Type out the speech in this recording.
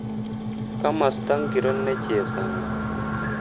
Komosta ngiro nechesani